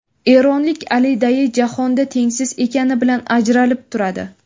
Eronlik Ali Dayi jahonda tengsiz ekani bilan ajralib turadi.